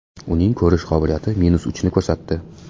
Uning ko‘rish qobiliyati minus uchni ko‘rsatdi.